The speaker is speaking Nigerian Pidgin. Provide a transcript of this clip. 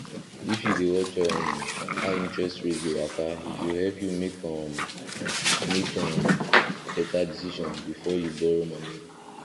if you dey watch um how interest rate dey waka e go help you make um make um better decision before you borrow money